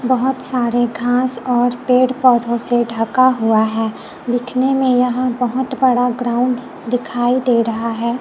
बहोत सारे घास और पेड़ पौधों से ढका हुआ है दिखने में यहां बहोत बड़ा ग्राउंड दिखाई दे रहा है।